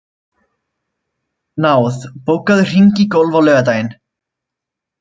Náð, bókaðu hring í golf á laugardaginn.